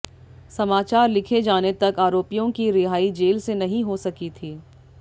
समाचार लिखे जाने तक आरोपियों की रिहाई जेल से नहीं हो सकी थी